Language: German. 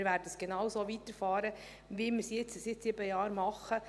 Wir werden genauso weiterfahren, wie wir es jetzt seit sieben Jahren machen.